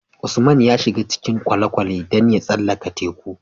Usman ya shiga cikin kwale kwale dan ya tsallaka teku